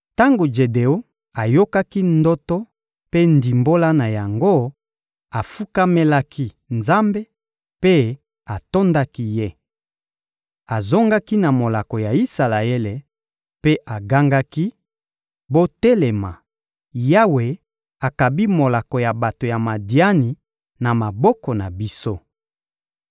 Tango Jedeon ayokaki ndoto mpe ndimbola na yango, afukamelaki Nzambe mpe atondaki Ye. Azongaki na molako ya Isalaele mpe agangaki: «Botelema, Yawe akabi molako ya bato ya Madiani na maboko na biso.»